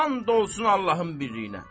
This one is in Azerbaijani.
And olsun Allahımın birliyinə.